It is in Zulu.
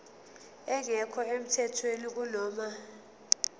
engekho emthethweni kunoma